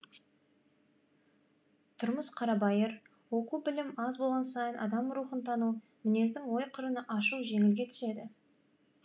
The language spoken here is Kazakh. тұрмыс қарабайыр оқу білім аз болған сайын адам рухын тану мінездің ой қырын ашу жеңілге түседі